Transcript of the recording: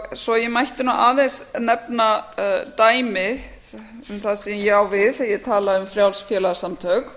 svo ég mætti aðeins nefna dæmi um það sem ég á við þegar ég tala um frjáls félagasamtök